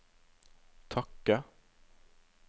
takke